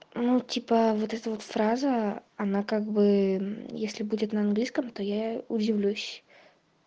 ну типа вот эта вот фраза она как бы мм если будет на английском то я удивлюсь